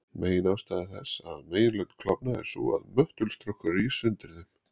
Meginástæða þess að meginlönd klofna er sú að möttulstrókur rís undir þeim.